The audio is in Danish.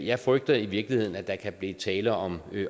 jeg frygter i virkeligheden at der kan blive tale om